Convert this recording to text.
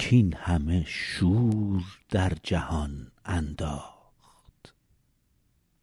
کاین همه شور در جهان انداخت